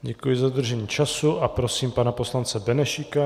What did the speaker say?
Děkuji za dodržení času a prosím pana poslance Benešíka.